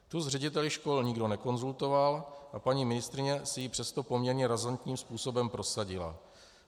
Tu s řediteli škol nikdo nekonzultoval, a paní ministryně si ji přesto poměrně razantním způsobem prosadila.